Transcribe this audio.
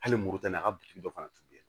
Hali moritani a ka biriki dɔ fana tun bɛ yen